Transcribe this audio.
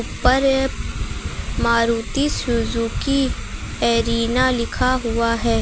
पर Maruti Suzuki Arena लिखा हुआ है।